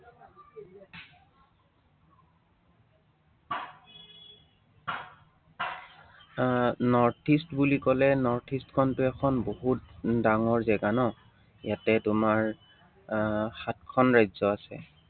আহ north east বুলি কলে north east খনটো এখন বহুত ডাঙৰ জেগা ন, ইয়াতে তোমাৰ আহ সাতখন ৰাজ্য আছে।